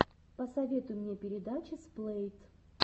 посоветуй мне передачи сплэйт